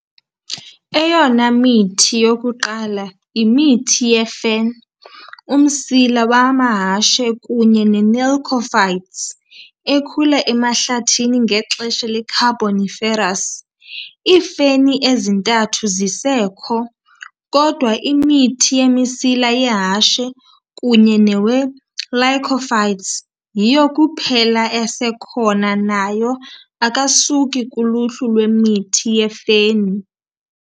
Eyona mithi yokuqala imithi yefen, umsila wamahashe kunye nelycophytes, ekhula emahlathini ngexesha le-Carboniferous, iifeni ezintathu zisekho, kodwa imithi yemisila yehashe kunye nowelycophytes yiyo kuphela esekhona nayo akasuki kuluhlu lwemithi yefeni.